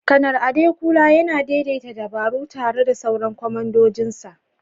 Kanar Adekunle yana daidaita dabaru tare da sauran kwamandojinsa